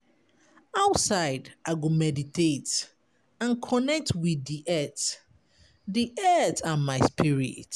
Outside, I go meditate and connect with di earth di earth and my spirit.